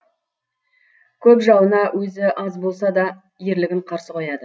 көп жауына өзі аз болса да ерлігін қарсы қояды